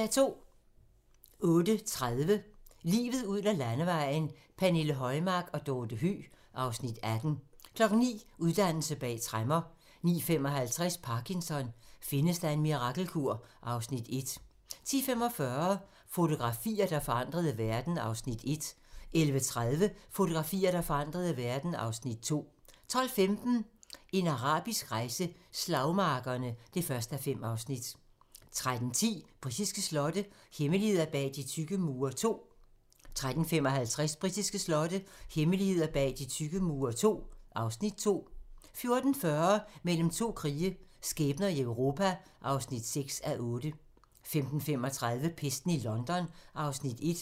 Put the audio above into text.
08:30: Livet ud ad landevejen: Pernille Højmark og Dorte Høeg (Afs. 18) 09:00: Uddannelse bag tremmer 09:55: Parkinson: Findes der en mirakelkur? (Afs. 1) 10:45: Fotografier, der forandrede verden (Afs. 1) 11:30: Fotografier, der forandrede verden (Afs. 2) 12:15: En arabisk rejse: Slagmarkerne (1:5) 13:10: Britiske slotte - hemmeligheder bag de tykke mure II 13:55: Britiske slotte - hemmeligheder bag de tykke mure II (Afs. 2) 14:40: Mellem to krige - skæbner i Europa (6:8) 15:35: Pesten i London (Afs. 1)